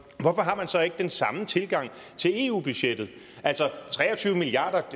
hvorfor har man så ikke den samme tilgang til eu budgettet altså tre og tyve milliard